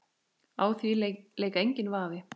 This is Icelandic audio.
Á því lék enginn vafi.